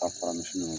A fara misiw